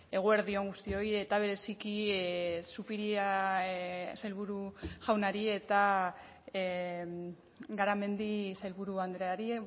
eguerdi on guztioi eta bereziki zupiria sailburu jaunari eta garamendi sailburu andreari